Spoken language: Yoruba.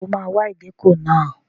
Ṣé o máa wa ìgéko náà?